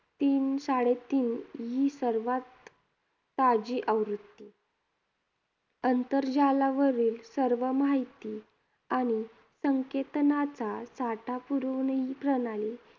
तीन साडेतीन ही सर्वात ताजी आवृत्ती. आंतरजालावरील सर्व माहिती आणि संकेतानाचा साठा पुरवणारी ही प्रणाली